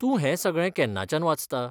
तूं हें सगळें केन्नाच्यान वाचता?